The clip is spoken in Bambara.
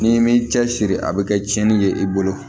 N'i m'i cɛsiri a bɛ kɛ tiɲɛni ye i bolo